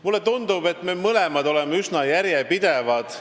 Mulle tundub, et me mõlemad oleme üsna järjepidevad.